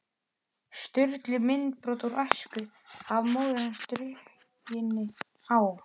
Sturlu myndbrot úr æsku, af móður hans drukkinni á